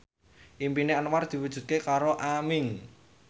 impine Anwar diwujudke karo Aming